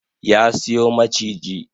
Ya siyo maciji